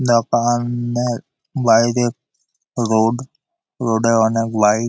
দোকান-ন-এর বাইরে road road এ অনেক বাইক ।